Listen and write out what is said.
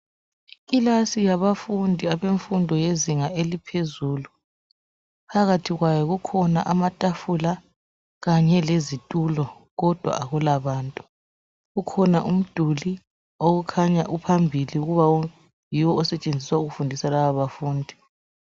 Ikilasi yabafundi abemfundo lezinga yaphezulu .Phakathi kwayo kukhona amatafula kanye lezitulo kodwa akulabantu. Ukhona umduli okukhanya uphambili ukuba yiwo osetshenziselwa ukufundisa abafundi.